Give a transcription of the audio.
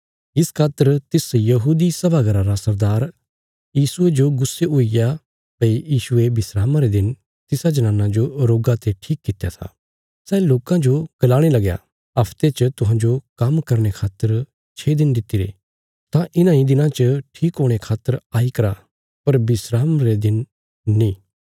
इस खातर तिस यहूदी सभा घरा रा सरदार यीशुये जो गुस्से हुईग्या भई यीशुये विस्रामा रे दिन तिसा जनाना जो रोगा ते ठीक कित्या था सै लोकां जो गलाणे लग्या हफते च तुहांजो काम्म करने खातर छे दिन दितिरे तां इन्हां इ दिनां च ठीक हुणे खातर आई करा पर विस्राम रे दिन नीं